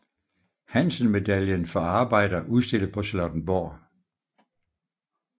Hansen Medaillen for arbejder udstillet på Charlottenborg